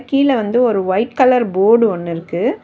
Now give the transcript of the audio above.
கீழ வந்து ஒரு ஒய்ட் கலர் போர்டு ஒன்னு இருக்கு.